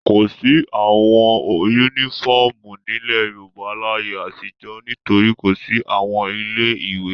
Kò sí àwọn únífọ́ọ́mù nílẹ̀ Yorùbá láyé àtijọ́ nítorí kò sí àwọn ilé-ìwé.